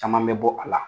Caman bɛ bɔ a la